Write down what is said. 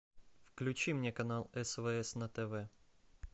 включи мне канал свс на тв